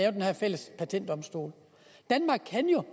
af den her fælles patentdomstol danmark kan jo